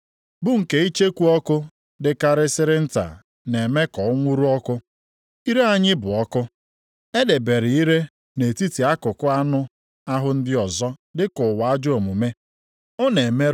Ire anyị bụ ọkụ. E debere ire nʼetiti akụkụ anụ ahụ ndị ọzọ dịka ụwa ajọ omume. Ọ na-emerụ ahụ niile, na-amụnye ọkụ nʼusoro ndụ mmadụ. Ya onwe ya bụkwa ihe ọkụ ala mmụọ na-amụnye ọkụ.